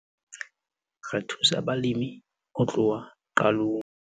"Re thusa balemi ho tloha qalong."